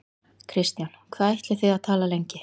Kristján: Hvað ætlið þið að tala lengi?